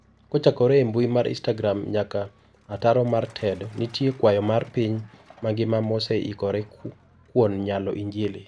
Kochakore e mbui mar istagram nyaka ataro mar TED, nitie kwaya mar piny mangima mose ikore kuon yalo injli.